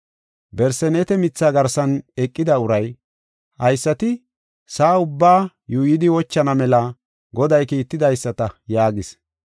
Barseneete mitha garsan eqida uray, “Haysati sa7aa ubbaa yuuyidi wochana mela Goday kiittidaysata” yaagis.